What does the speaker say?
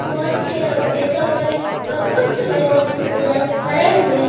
बहोत से लोग बैठे हुए और कुछ लोग उधर खड़े हुए--